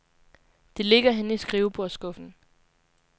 Det ligger henne i skrivebordsskuffen.